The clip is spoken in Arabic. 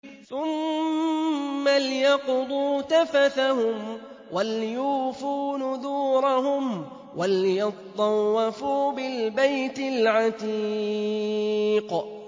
ثُمَّ لْيَقْضُوا تَفَثَهُمْ وَلْيُوفُوا نُذُورَهُمْ وَلْيَطَّوَّفُوا بِالْبَيْتِ الْعَتِيقِ